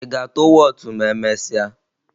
Ị ga-atụ wọọtụ ma emesịa?